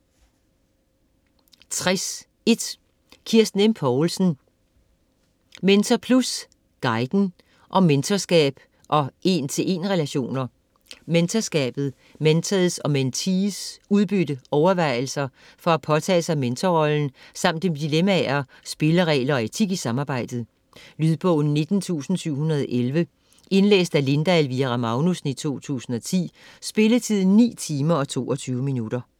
60.1 Poulsen, Kirsten M.: Mentor+guiden: om mentorskab og en-til-en-relationer Mentorskabet, mentors og mentees udbytte, overvejelser for at påtage sig mentorrollen samt om dilemmaer, spilleregler og etik i samarbejdet. Lydbog 19711 Indlæst af Linda Elvira Magnussen, 2010. Spilletid: 9 timer, 22 minutter.